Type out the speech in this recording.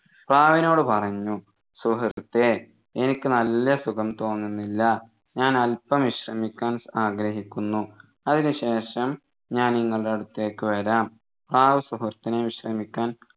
പ്രാവിനോട് പറഞ്ഞു സുഹൃത്തേ എനിക്ക് നല്ല സുഖം തോന്നുന്നില്ല ഞാൻ അല്പം വിശ്രമിക്കാൻ ആഗ്രഹിക്കുന്നു അതിന് ശേഷം ഞാൻ നിങ്ങളുടെ അടുത്തേക്ക് വരാം പ്രാവ് സുഹൃത്തിനെ വിശ്രമിക്കാൻ